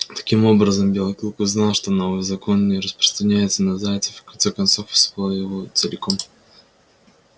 таким образом белый клык узнал что новый закон не распространяется на зайцев и в конце концов усвоил его целиком